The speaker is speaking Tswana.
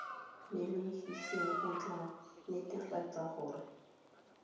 mmelegisi o tla netefatsa gore